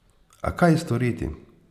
A kaj storiti?